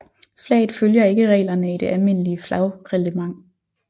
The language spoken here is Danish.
Flaget følger ikke reglerne i det almindelige flagreglement